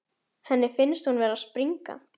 Henni finnst hún vera að springa.